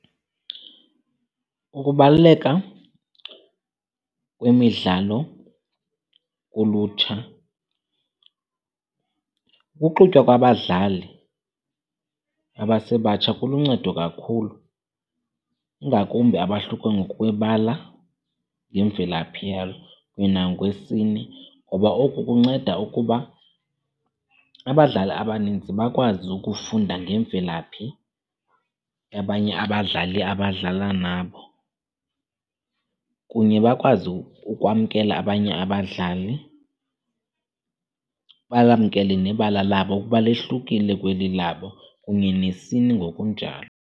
Ukubaluleka kwemidlalo kulutsha, ukuxutywa kwabadlali abasebatsha kuluncedo kakhulu, ingakumbi abahluke ngokwebala, ngemvelaphi yabo kunye nangokwesini. Ngoba oku kunceda ukuba abadlali abaninzi bakwazi ukufunda ngemvelaphi yabanye abadlali abadlala nabo, kunye bakwazi ukwamkela abanye abadlali. Balamkele nebala labo kuba lohlukile kweli labo kunye nesini ngokunjalo.